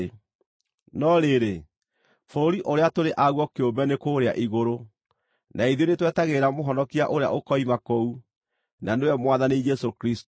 No rĩrĩ, bũrũri ũrĩa tũrĩ aguo kĩũmbe nĩ kũũrĩa igũrũ. Na ithuĩ nĩtwetagĩrĩra Mũhonokia ũrĩa ũkoima kũu, na nĩwe Mwathani Jesũ Kristũ,